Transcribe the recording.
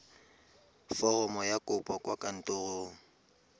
foromo ya kopo kwa kantorong